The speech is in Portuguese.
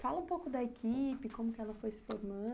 Fala um pouco da equipe, como ela foi se